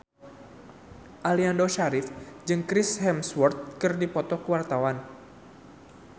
Aliando Syarif jeung Chris Hemsworth keur dipoto ku wartawan